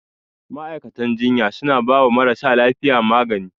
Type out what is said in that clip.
Ma'aikatan jinya suna bawa marasa lafiya magani.